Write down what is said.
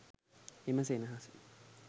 එම සෙනෙහස